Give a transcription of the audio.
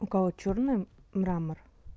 у кого чёрный мрамор